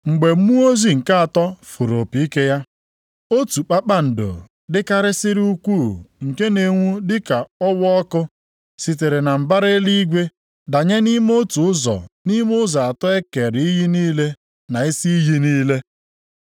Mgbe mmụọ ozi nke atọ fụrụ opi ike ya, otu kpakpando dịkarịsịrị ukwuu nke na-enwu dị ka ọwaọkụ sitere na mbara eluigwe danye nʼime otu ụzọ nʼime ụzọ atọ e kere iyi niile na isi iyi niile.